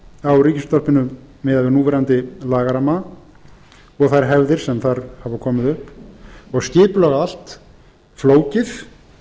á ríkisútvarpinu miðað við núverandi lagaramma og þær hefðir sem þar hafa komið upp og skipulag allt flókið